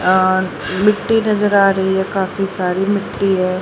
अअ मिट्टी नजर आ रही है काफी सारी मिट्टी है।